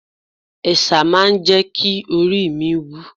Ẹ̀sà máa ń jẹ́ kí oríi mi wú.